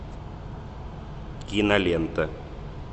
кинолента